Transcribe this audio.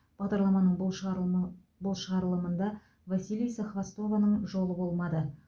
бағдарламаның бұл шығарылымы бұл шығарылымында василиса хвостованың жолы болмады